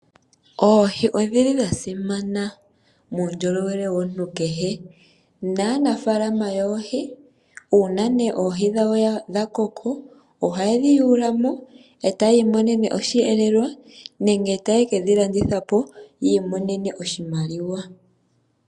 Oohi odhili dhasimana muundjolowele wakehe gumwe nanafaalama yoohi uuna nee oohi dhawo dhakoko ohaye dhi yuulamo ee taya imonene oshihelelwa nenge taye kedhilandithapo yiimonene oshimaliwa.